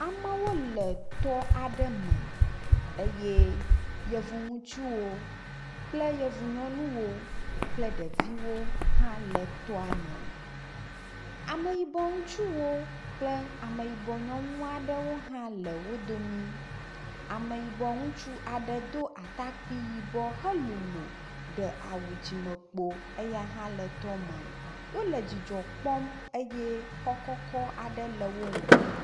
Amewo le tɔ aɖe me eye yevu ŋutsuwo kple yevu nyɔnuwo kple ɖeviwo hã le tɔa me. Ameyibɔ ŋutsuwo kple ameyibɔ nyɔnu aɖewo hã le wo dome. Ame yibɔ ŋutsu aɖe do atakpui yibɔ helolo ɖe awu dzimekpo eya hã le tɔa me. Wolé dzidzɔ kpɔm eye xɔ kɔkɔ aɖe le wo ŋgɔ.